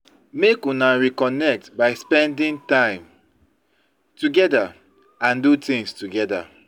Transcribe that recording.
Make una reconnect by spending time together and do things together